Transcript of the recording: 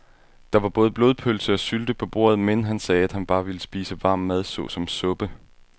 Der var både blodpølse og sylte på bordet, men han sagde, at han bare ville spise varm mad såsom suppe.